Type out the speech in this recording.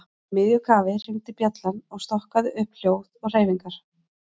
Í miðju kafi hringdi bjallan og stokkaði upp hljóð og hreyfingar.